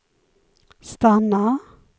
stanna